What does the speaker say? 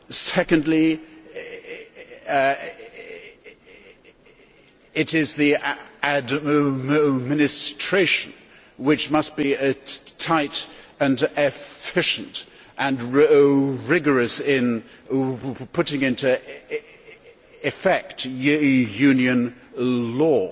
Secondly it is the administration, which must be tight and efficient and rigorous in putting into effect Union law.